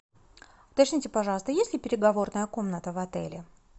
уточните пожалуйста есть ли переговорная комната в отеле